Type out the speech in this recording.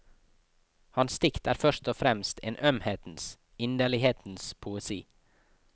Hans dikt er først og fremst en ømhetens, inderlighetens poesi.